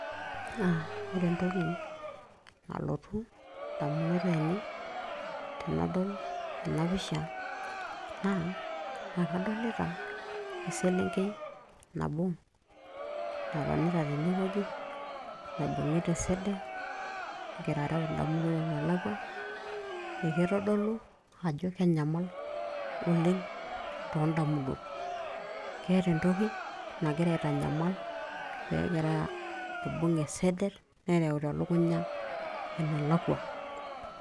Na ore entoki nalotu indamunot ainei tenadol ena pisha, naa ekadolita eselenkei nabo natonita tenewueji, naibung'ita eseder, egira areu indamunot enelakwa. Ekitodolu ajo kenyamal oleng' tondamuntot. Keeta entoki nagira aitanyamal pegira aibung' eseder, nereuta elukunya enelakwa.